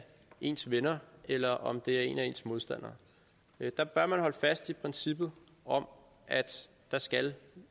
ens venner eller om det er en af ens modstandere der bør man holde fast i princippet om at der skal